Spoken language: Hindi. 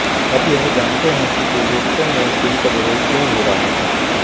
अब यह जानते हैं कि पूर्वोत्तर में इस बिल का विरोध क्यों हो रहा है